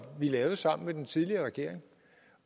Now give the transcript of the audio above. vi lavede sammen med den tidligere regering